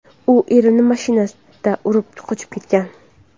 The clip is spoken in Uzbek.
U erimni mashinasida urib qochib ketgan.